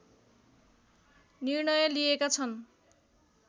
निर्णय लिएका छन्